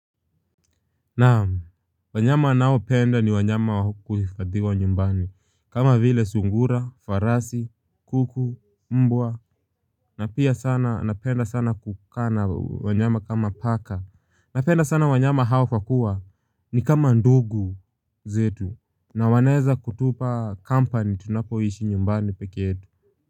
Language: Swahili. Naam, wanyama naopenda ni wanyama wa kuhifadhiwa nyumbani kama vile sungura, farasi, kuku, mbwa na pia sana napenda sana kukaa na wanyama kama paka. Napenda sana wanyama hawa kwa kuwa ni kama ndugu zetu na wanaeza kutupa kampani tunapoishi nyumbani peke yetu.